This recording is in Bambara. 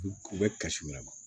U u bɛ kasi wɛrɛ ma